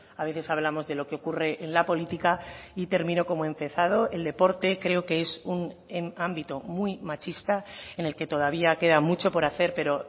a veces hablamos de lo que ocurre en la política y termino como he empezado el deporte creo que es un ámbito muy machista en el que todavía queda mucho por hacer pero